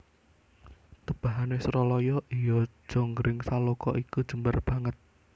Tebahane Suralaya iya jonggringsaloka iku jembar banget